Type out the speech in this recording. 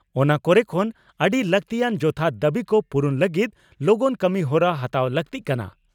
ᱚᱱᱟ ᱠᱚᱨᱮ ᱠᱷᱚᱱ ᱟᱹᱰᱤ ᱞᱟᱠᱛᱤᱭᱟᱱ ᱡᱚᱛᱷᱟᱛ ᱫᱟᱹᱵᱤ ᱠᱚ ᱯᱩᱨᱩᱱ ᱞᱟᱹᱜᱤᱫ ᱞᱚᱜᱚᱱ ᱠᱟᱹᱢᱤᱦᱚᱨᱟ ᱦᱟᱛᱟᱣ ᱞᱟᱹᱜᱛᱤᱜ ᱠᱟᱱᱟ ᱾